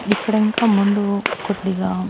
ఇక్కడ ఇంకా ముందు కొద్దిగా--